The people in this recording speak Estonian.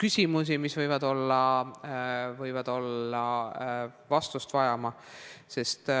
küsimusi, mis võivad vastust vajada.